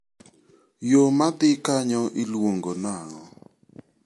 Yo ma dhi kanyo iluongo nang'o?